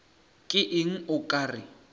ke eng o ka re